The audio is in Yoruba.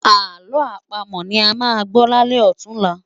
Àlọ́ àpamọ̀ ni a máa gbọ́ lálẹ́ ọ̀tunla